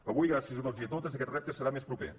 avui gràcies a tots i a totes aquest repte serà més proper